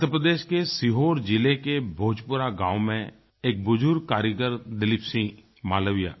मध्य प्रदेश के सीहोर जिले के भोजपुरा गाँव में एक बुज़ुर्ग कारीगर दिलीप सिंह मालविया